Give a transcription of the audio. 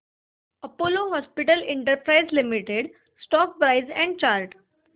Apollo hospitals enterprise limited stock price and chart